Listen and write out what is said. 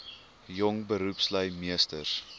jong beroepslui meesters